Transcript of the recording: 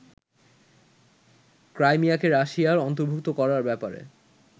ক্রাইমিয়াকে রাশিয়ার অন্তর্ভুক্ত করার ব্যাপারে